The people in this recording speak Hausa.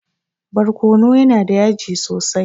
Barkono yana da yaji sosai.